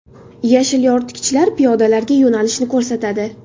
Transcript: Yashil yoritgichlar piyodalarga yo‘nalishni ko‘rsatadi.